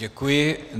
Děkuji.